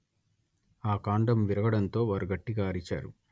ఆ కాండం విరగడంతో వారు గట్టిగా అరిచారు